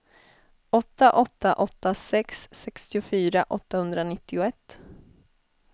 åtta åtta åtta sex sextiofyra åttahundranittioett